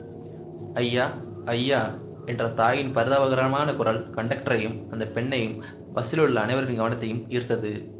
ஐயாஐயா என்ற தாயின் பரிதாபகரமான குரல் கண்டக்டரையும் அந்த பெண்ணையும் பஸ்ஸிலுள்ள அனைவரின் கவனத்தையும் ஈர்த்தது